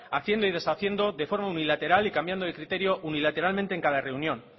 haciendo y deshaciendo de forma unilateral y cambiando de criterio unilateralmente en cada reunión